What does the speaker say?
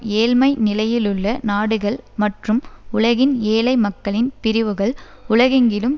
ஏழ்மை நிலையிலுள்ள நாடுகள் மற்றும் உலகின் ஏழை மக்களின் பிரிவுகள் உலகெங்கிலும்